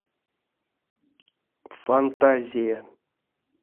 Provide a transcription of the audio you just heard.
фантазия